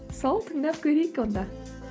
сол тыңдап көрейік онда